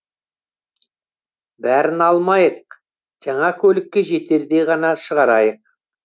бәрін алмайық жаңа көлікке жетердей ғана шығарайық